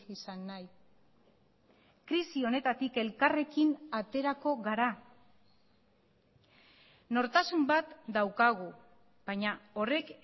izan nahi krisi honetatik elkarrekin aterako gara nortasun bat daukagu baina horrek